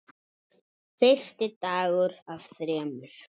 Fyrsti dagur af þremur.